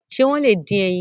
Ṣé wọ́n lè dín ẹyin?